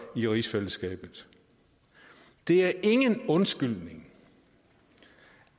i rigsfællesskabet det er ingen undskyldning